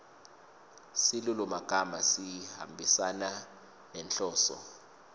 silulumagama sihambisana nenhloso